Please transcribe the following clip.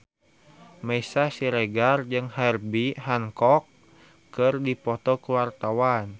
Meisya Siregar jeung Herbie Hancock keur dipoto ku wartawan